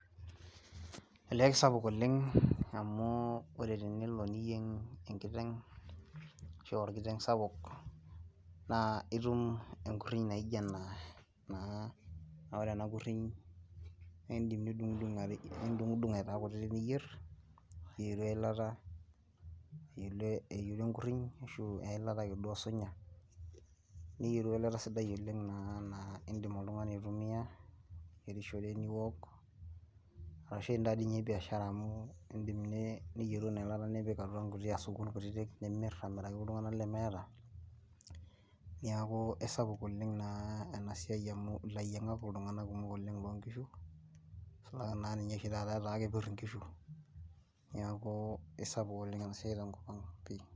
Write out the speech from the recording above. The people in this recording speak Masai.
olee kisapuk oleng amu tenelo niyieng enkiteng ashu orkiteng sapuk naa etum enkuriny naijio ena naa ore ena kuriny naa edim nidungudung niyieru enkuriny ashu eyilata osunyai niyieru eyilata naa edim oltung'ani aitumia niyierishore niwok ashu etaa doi ninye biashara amu edim niyieru ena yilata nipik atua nkuti asukun kutiti nimir amiraki iltung'ana lemeeta neeku esapuk oleng ena siai amu elayiangak iltung'ana kumok loo nkishu nisulaki oshi taata etaa kepir enkishu neeku esapuk enasiai tenkop ang pii